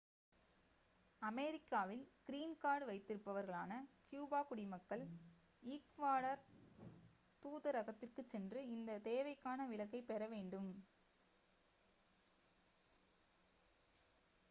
அமெரிக்காவில் green card வைத்திருப்பவர்களான கியூப குடிமக்கள் ஈக்வடார் தூதரகத்திற்குச் சென்று இந்த தேவைக்கான விலக்கைப் பெறவேண்டும்